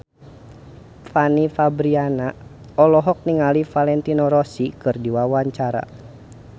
Fanny Fabriana olohok ningali Valentino Rossi keur diwawancara